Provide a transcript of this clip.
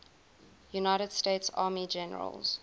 united states army generals